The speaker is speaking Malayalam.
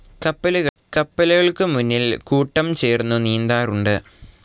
കപ്പലുകൾക്ക് മുന്നിൽ കൂട്ടം ചേർന്നു നീന്താറുണ്ട്.